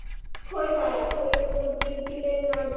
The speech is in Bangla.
খই হ্যাঁ খই এর মুরকি, তিলের নাড়ু